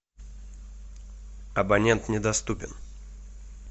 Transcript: абонент недоступен